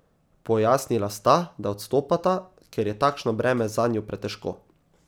Pojasnila sta, da odstopata, ker je takšno breme zanju pretežko.